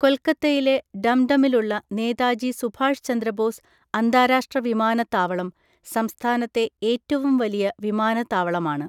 കൊൽക്കത്തയിലെ ഡം ഡമിലുള്ള നേതാജി സുഭാഷ് ചന്ദ്രബോസ് അന്താരാഷ്ട്ര വിമാനത്താവളം സംസ്ഥാനത്തെ ഏറ്റവും വലിയ വിമാനത്താവളമാണ്.